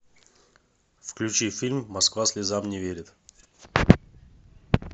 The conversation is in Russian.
включи фильм москва слезам не верит